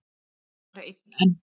Bara einn enn?